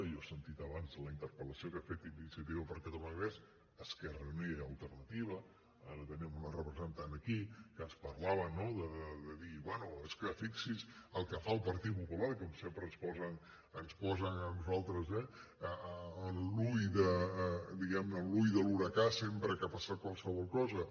i jo he sentit abans la interpel·lació que ha fet iniciativa per catalunya verds esquerra unida i alternativa ara en tenim una representant aquí que ens parlava no de dir bé és que fixi’s el que fa el partit popular que sempre ens posen a nosaltres eh diguem ne en l’ull de l’huracà sempre que ha passat qualsevol cosa